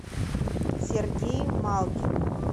сергей малкин